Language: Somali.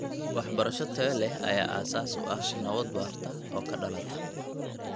Waxbarasho tayo leh ayaa aasaas u ah nabad waarta oo ka dhalata .